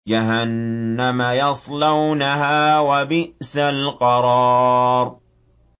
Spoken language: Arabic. جَهَنَّمَ يَصْلَوْنَهَا ۖ وَبِئْسَ الْقَرَارُ